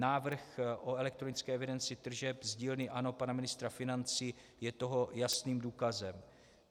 Návrh o elektronické evidenci tržeb z dílny ANO pana ministra financí je toho jasným důkazem.